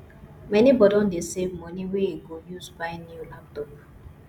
my nebor don dey save money wey he go use buy new laptop